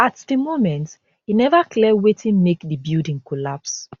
at di moment e neva clear wetin make di building collapse